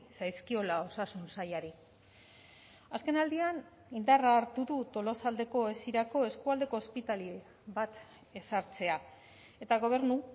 zaizkiola osasun sailari azkenaldian indarra hartu du tolosaldeko esirako eskualdeko ospitale bat ezartzea eta gobernu